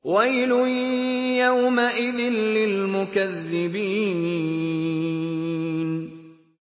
وَيْلٌ يَوْمَئِذٍ لِّلْمُكَذِّبِينَ